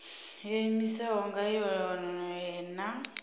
yo iimisaho nga yohe na